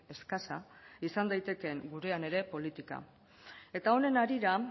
eskasa izan daitekeen gurena ere politika eta honen harira